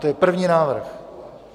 To je první návrh.